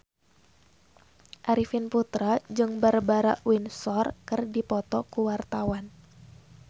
Arifin Putra jeung Barbara Windsor keur dipoto ku wartawan